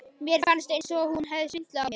Mér fannst eins og hún hefði svindlað á mér.